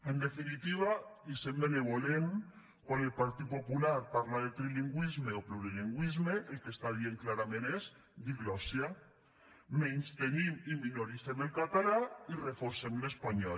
en definitiva i sent benvolent quan el partit popular parla de trilingüisme o plurilingüisme el que està dient clarament és diglòssia menystenim i minoritzem el català i reforcem l’espanyol